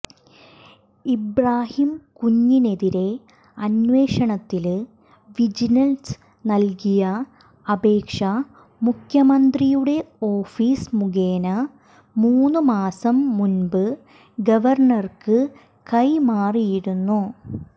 ഇബ്രാഹിംകുഞ്ഞിനെതിരായ അന്വേഷണത്തില് വിജിലന്സ് നല്കിയ അപേക്ഷ മുഖ്യമന്ത്രിയുടെ ഓഫീസ് മുഖേന മൂന്നു മാസം മുന്പ് ഗവര്ണര്ക്ക് കൈമാറിയിരുന്നു